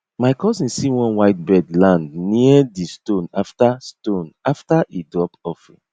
my cousin see one white bird land near di stone after stone after e drop offering